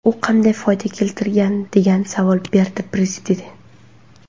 U qanday foyda keltirgan?”, deya savol berdi Prezident.